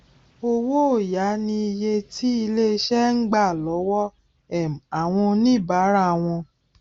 owó òya ni iye tí ilé iṣẹ ń gbà lọwọ um àwọn oníbàárà wọn